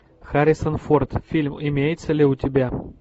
харрисон форд фильм имеется ли у тебя